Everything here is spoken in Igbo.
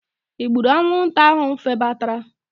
I gburu anwụnta ahụ febatara?